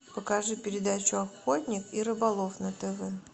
покажи передачу охотник и рыболов на тв